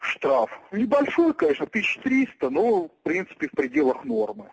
штраф небольшой конечно тысяча триста ну в принципе в пределах нормы